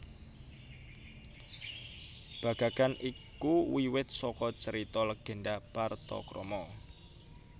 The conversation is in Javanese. Bagagan iku wiwit saka carita legenda Partakrama